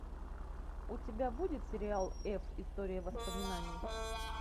у тебя будет сериал эф история воспоминаний